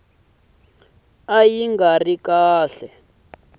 ka yi nga ri kahle